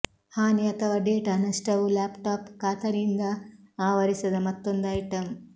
ಹಾನಿ ಅಥವಾ ಡೇಟಾ ನಷ್ಟವು ಲ್ಯಾಪ್ಟಾಪ್ ಖಾತರಿಯಿಂದ ಆವರಿಸದ ಮತ್ತೊಂದು ಐಟಂ